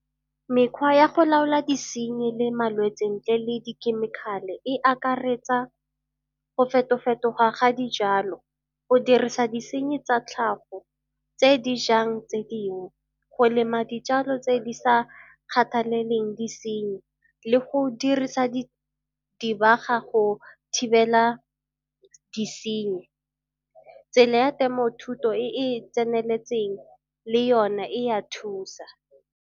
Mekgwa ya go laola disenyi le malwetsi ntle le dikhemikhale e akaretsa go feto-fetoga ga dijalo. Go dirisa disenyi tsa tlhago tse di jang tse dingwe, go lema dijalo tse di sa kgathaleleng disenyi le go dirisa dirisa dibaga go thibela disenyi. Tsela ya temothuo e e tseneletseng le yone e a thusa.